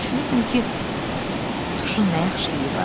Düşünürdüm ki, tuşun nə yaxşı iyi var?